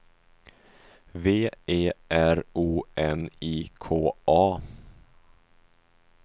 V E R O N I K A